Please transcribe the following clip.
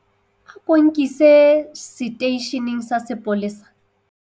ako nkise seteisheneng sa sepolesa